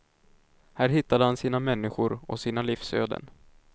Här hittade han sina människor och sina livsöden.